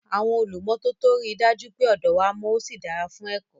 Àwọn olùmọ́tótó rí i dájú pé ọ̀dọ wa mọ́ ó sì dára fún ẹ̀kọ́.